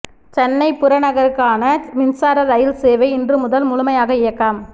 சென்னை புறநகருக்கான மின்சார ரயில் சேவை இன்று முதல் முழுமையாக இயக்கம்